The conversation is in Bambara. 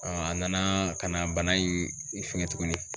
a nana ka na bana in fɛngɛ tuguni.